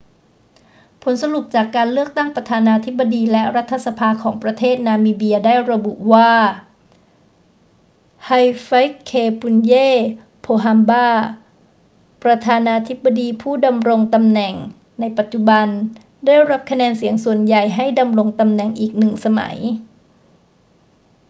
ผลสรุปจากการเลือกตั้งประธานาธิบดีและรัฐสภาของประเทศนามิเบียได้ระบุว่า hifikepunye pohamba ประธานาธิบดีผู้ดำรงตำแหน่งในปัจจุบัน ได้รับคะแนนเสียงส่วนใหญ่ให้ดำรงตำแหน่งอีกหนึ่งสมัย